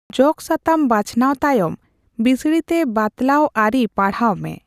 ᱡᱚᱜᱚ ᱥᱟᱛᱟᱢ ᱵᱟᱪᱷᱚᱱᱟᱣ ᱛᱟᱭᱚᱢ, ᱵᱤᱥᱲᱤᱛᱮ ᱵᱟᱛᱞᱟᱣ ᱟᱹᱨᱤ ᱯᱟᱲᱦᱟᱣ ᱢᱮ᱾